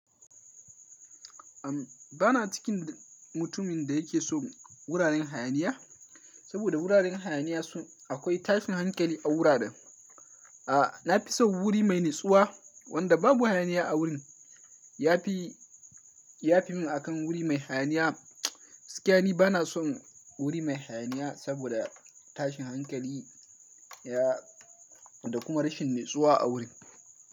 Ahm, bana cikin mutumin da yake so wuraren hayaniya, saboda wuraren hayaniya su akwai tashin hankali a wuraren. A, na fi so wuri mai natsuwa wanda babu hayaniya a wurin, ya fi, ya fi min akan wuri mai hayaniya. Sikani bana son wuri mai hayaniya saboda tashin hankali ya da kuma rashin natsuwa a wurin.